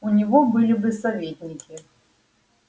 у него были бы советники